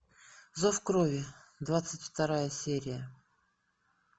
зов крови двадцать вторая серия